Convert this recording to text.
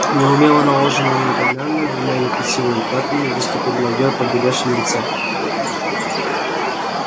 неумело наложенные румяна двумя некрасивыми пятнами выступили на её побелевшем лице